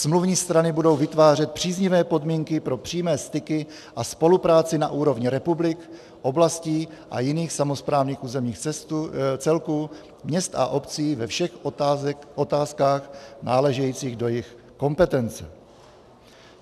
Smluvní strany budou vytvářet příznivé podmínky pro přímé styky a spolupráci na úrovni republik, oblastí a jiných samosprávných územních celků, měst a obcí ve všech otázkách náležejících do jejich kompetencí."